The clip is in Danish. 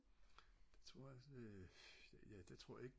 det tror jeg altså øh ja det tror jeg ikke